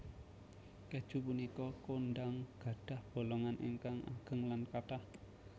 Kèju punika kondhang gadhah bolongan ingkang ageng lan kathah